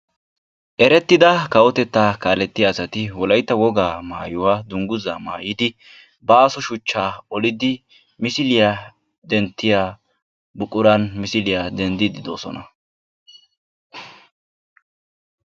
eretida kawotetta kaaletiya assati wolaytta wogaa maayuwaa hadiyaa dunguzza maayidi baasso suchcha oldidi misiliya dentiyaa buqurani misiliyaa dendidi de"oosona.